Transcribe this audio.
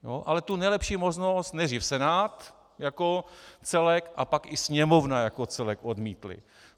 Ale tu nejlepší možnost nejdřív Senát jako celek a pak i Sněmovna jako celek odmítly.